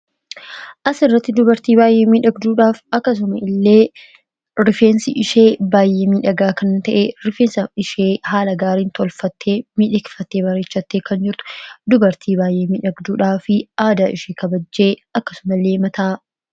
as irratti dubartii baayyee miidhagduudhaaf akkasuma illee rifeensi ishee baayyeemii dhagaa kan ta'e rifeensa ishee haala gaariin tolfatte midhekfattee; barichatte kan jirtu dubartii baayyeemii dhagduudhaa fi aada ishee kabajjee akkasuma lee mataa